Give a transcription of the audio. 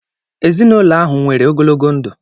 Ezinụlọ ahụ nwere ogologo ndụ